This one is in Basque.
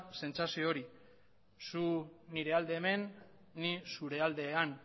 sentsazio hori zu nire alde hemen ni zure alde han